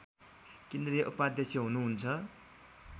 केन्द्रीय उपाध्यक्ष हुनुहुन्छ